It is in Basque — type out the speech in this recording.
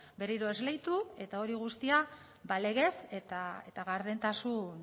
berriro esleitu eta hori guztia ba legez eta gardentasun